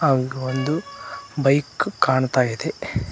ಹಾಗು ಒಂದು ಬೈಕ್ ಕಾಣ್ತಾ ಇದೆ.